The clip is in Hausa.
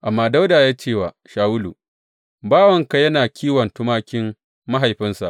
Amma Dawuda ya ce wa Shawulu, Bawanka yana kiwon tumakin mahaifinsa.